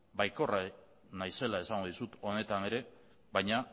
baikorra naizela esango dizut honetan ere baina